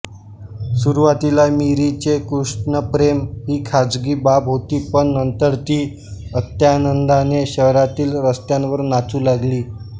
सुरुवातीला मीरेचे कृष्णप्रेम ही खाजगी बाब होती पण नंतर ती अत्यानंदाने शहरातील रस्त्यांवर नाचू लागली